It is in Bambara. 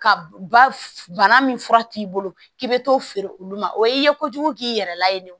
Ka ba bana min fura t'i bolo k'i bɛ t'o feere olu ma o ye i ye kojugu k'i yɛrɛ la yen